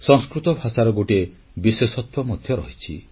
ସଂସ୍କୃତ ଭାଷାର ଗୋଟିଏ ବିଶେଷତ୍ୱ ମଧ୍ୟ ରହିଛି